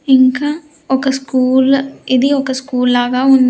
ఇంకా ఒక స్కూల్ ఇది ఒక స్కూల్ లాగా ఉం--